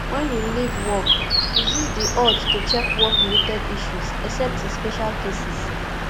when you leave work resist di urge to check work related issues except in special cases